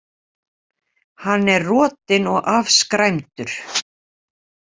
Hann er rotinn og afskræmdur.